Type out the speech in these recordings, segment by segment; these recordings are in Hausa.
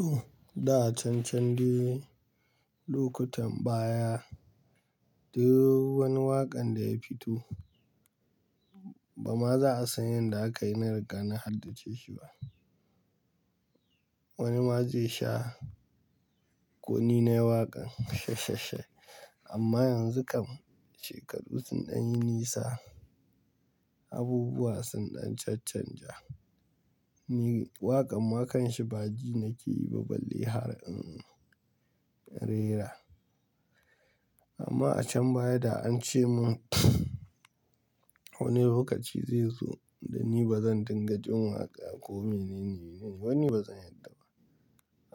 Ooh! Da can can dai lokutan baya, duk wani waƙan da ya fito, bama za a san yadda aka yi na riga na haddace shi ba. Wani ma zai sha kuni nai waƙan. Amma yanzu kam shekaru sun ɗan yi nisa, abubuwa sun ɗan can can ja. Ni waƙan ma kanshi ba jina ke yi ba balle har in rera. Amma a can baya da an ce mun wani lokaci zai zo da ni bazan dinga jin waƙa ko menene, wani bazan yarda ba.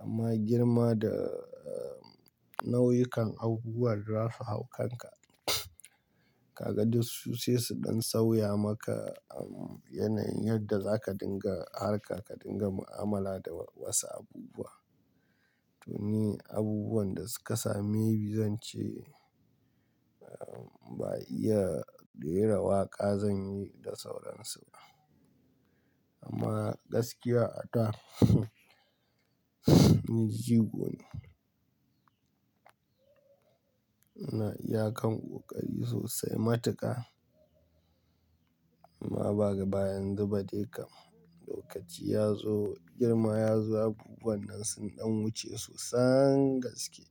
Amma girma da nau'ikan abubuwan da zasu hau kanka ka ga duk su sai su ɗan sauya maka yanayin yadda zaka dinga harka ka dinga mu'amala da wasu abubuwa. To ni abubuwan da suka same ni zan ce ba iya rera waƙa zan yi da sauransu ba. Amma gaskiya a da ni jigo ne. Na iya kan ƙoƙari sosai ma tu ƙa. Amma ba baya yanzu ba dai kam. Lokaci ya zo, girma ya zo, abubuwan nan sun ɗan wuce sosan gaske.